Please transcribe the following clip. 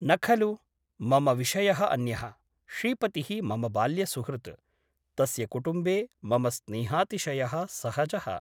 न खलु ? मम विषयः अन्यः । श्रीपतिः मम बाल्यसुहृत् । तस्य कुटुम्बे मम स्नेहातिशयः सहजः ।